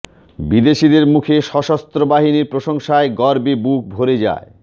বিদেশিদের মুখে সশস্ত্র বাহিনীর প্রশংসায় গর্বে বুক ভরে যায়